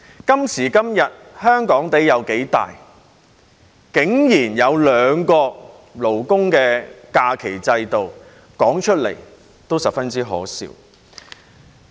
今時今日，香港有多大竟然要有兩個勞工假期制度，說出來也十分可笑。